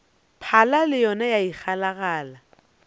phala le yona ya ikgalagala